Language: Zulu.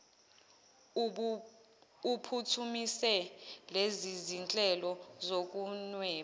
uphuthumise lezizinhlelo zokunweba